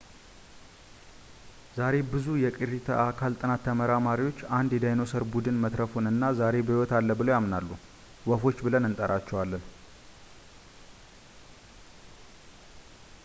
ዛሬ ብዙ የቅሪተ አካል ጥናት ተመራማሪዎች አንድ የዳይኖሰር ቡድን መትረፉን እና ዛሬ በሕይወት አለ ብለው ያምናሉ ወፎች ብለን እንጠራቸዋለን